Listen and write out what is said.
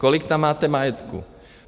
Kolik tam máte majetku?